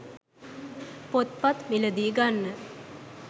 පොත්පත් මිලදී ගන්න